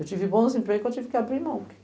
Eu tive bons empregos, que eu tive que abrir mão.